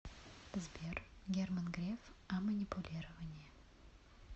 сбер герман греф о манипулировании